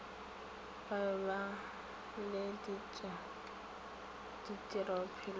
ba be le tirobophelo ya